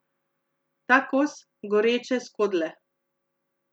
Ta kos goreče skodle.